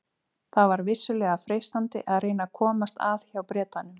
Það var vissulega freistandi að reyna að komast að hjá Bretanum.